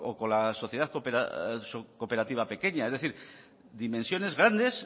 con la sociedad cooperativa pequeña es decir dimensiones grandes